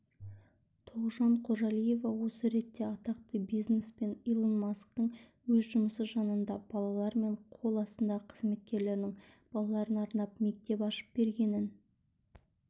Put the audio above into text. тогжан қожалиева осы ретте атақты бизнесмен илон масктің өз жұмысы жанынан балалары мен қол астындағы қызметкерлерінің балаларына арнап мектеп ашып бергенін